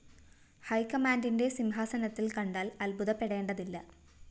ഹൈക്കമാന്റിന്റെ സിംഹാസനത്തില്‍ കണ്ടാല്‍ അത്ഭുതപ്പെടേണ്ടതില്ല